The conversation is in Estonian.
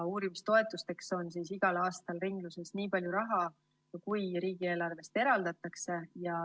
Uurimistoetusteks on igal aastal ringluses nii palju raha, kui riigieelarvest eraldatakse.